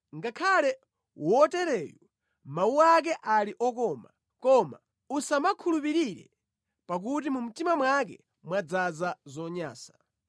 Ngakhale wotereyu mawu ake ali okoma, koma usamukhulupirire, pakuti mu mtima mwake mwadzaza zonyansa.